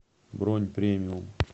бронь премиум